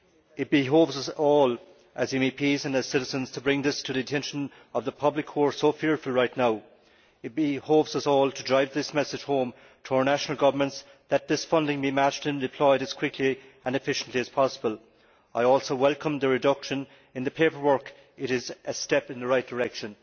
It behoves us all as MEPs and as citizens to bring this to the attention of the public, who are so fearful right now. It behoves us all to drive this message home to our national governments that this funding be matched and deployed as quickly and efficiently as possible. I also welcome the reduction in the paperwork. It is a step in the right direction.